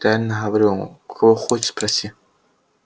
реально говорю у кого хочешь спроси